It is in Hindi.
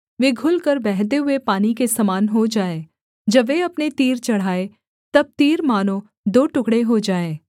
वे घुलकर बहते हुए पानी के समान हो जाएँ जब वे अपने तीर चढ़ाएँ तब तीर मानो दो टुकड़े हो जाएँ